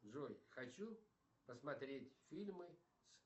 джой хочу посмотреть фильмы с